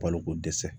Balokodɛsɛ